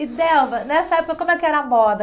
E, Delva, nessa época, como é que era a moda?